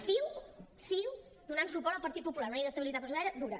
ciu donant suport al partit popular una llei d’estabilitat pressupostària dura